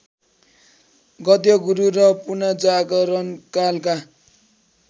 गद्यगुरु र पुनर्जागरणकालका